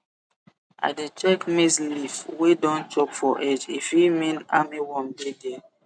i dey check maize leaf wey don chop for edge e fit mean armyworm dey there